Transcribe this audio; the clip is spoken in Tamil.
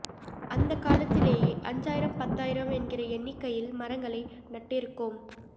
அந்த காலத்திலேயே அஞ்சாயிரம் பத்தாயிரம் என்கிற எண்ணிக்கையில் மரங்களை நட்டிருக்கோம்